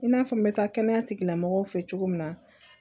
I n'a fɔ n bɛ taa kɛnɛya tigilamɔgɔw fɛ cogo min na